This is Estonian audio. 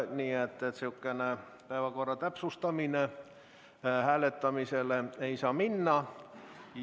Nii et säärane päevakorra täpsustamine hääletamisele ei saa minna.